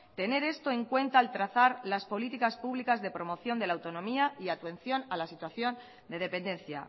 tener esto en cuenta al trazar las políticas públicas de promoción de la autonomía y atención a la situación de dependencia